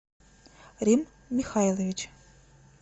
рим михайлович